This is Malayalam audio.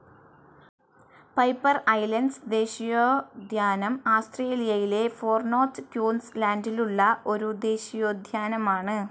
പൈപ്പർ ഐസ്ലാൻഡ്സ്‌ ദേശീയോദ്യാനം ആസ്ത്രേലിയയിലെ ഫാർ നോർത്ത്‌ ക്യൂൻസ്‌ ലാന്റിലുള്ള ഒരു ദേശീയോദ്യാനമാണ്.